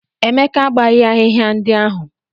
Emeka agbaghị ahịhịa ndị ahụ.